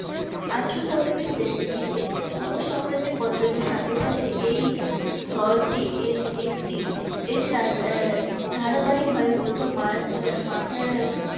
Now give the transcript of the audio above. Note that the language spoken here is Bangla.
আঠারোশ শতকের শেষের দিকে মুঘল সাম্রাজ্যের পতনের সাথে সাথে এই শহরটি একটি এটি রাজধা আহ ধারাবাহিকভাবে প্রথম মারাঠা মাঠারা